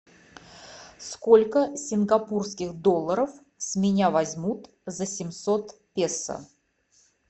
сколько сингапурских долларов с меня возьмут за семьсот песо